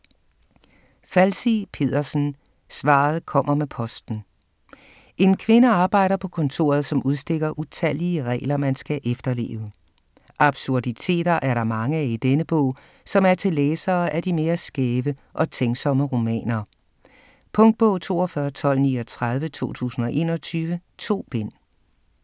Falsig Pedersen, Sidsel: Svaret kommer med posten En kvinde arbejder på kontoret, som udstikker utallige regler, man skal efterleve. Absurditeter er der mange af i denne bog, som er til læsere af de mere skæve og tænksomme romaner. Punktbog 421239 2021. 2 bind.